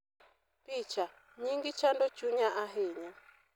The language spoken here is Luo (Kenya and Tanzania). Picha: Nyingi chando chunya ahinya.